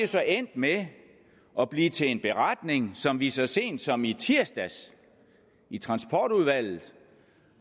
så endt med at blive til en beretning som vi så sent som i tirsdags i transportudvalget